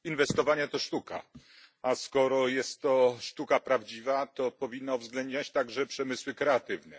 Inwestowanie to sztuka, a skoro jest to sztuka prawdziwa, to powinna uwzględniać także przemysły kreatywne.